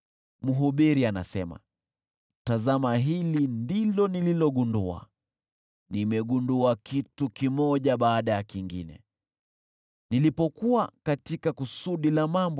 Mhubiri anasema, “Tazama, hili ndilo nililogundua: “Nimegundua kitu kimoja baada ya kingine nilipokuwa katika kusudi la mambo: